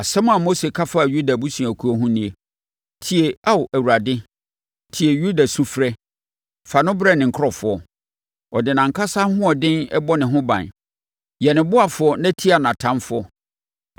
Asɛm a Mose ka faa Yuda abusuakuo ho nie: “Tie Ao Awurade, tie Yuda sufrɛ fa no brɛ ne nkurɔfoɔ. Ɔde nʼankasa ahoɔden bɔ ne ho ban. Yɛ ne ɔboafoɔ na tia nʼatamfoɔ!”